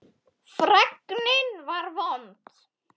Fregnin var vond.